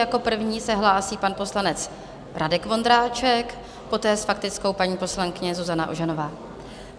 Jako první se hlásí pan poslanec Radek Vondráček, poté s faktickou paní poslankyně Zuzana Ožanová.